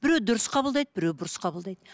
бәреу дұрыс қабылдайды біреу бұрыс қабылдайды